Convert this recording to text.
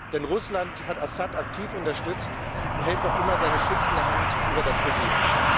Denn Russland hat Assad aktiv unterstützt und hält noch immer seine schützende Hand über das Regime.